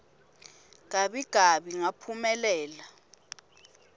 gabi gabi ngaphumelela